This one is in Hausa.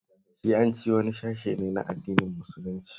Shi'anci wani sashe ne na addinin musulunci